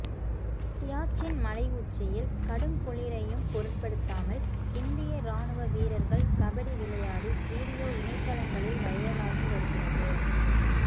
சியாச்சின் மலை உச்சியில் கடுங்குளிரையும் பொருட்படுத்தாமல் இந்திய ராணுவ வீரர்கள் கபடி விளையாடி வீடியோ இணையதளங்களில் வைரலாகி வருகிறது